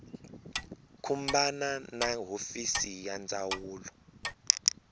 khumbana na hofisi ya ndzawulo